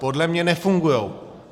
Podle mě nefungují.